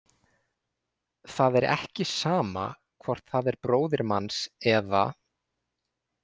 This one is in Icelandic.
Það er ekki sama hvort það er bróðir manns eða.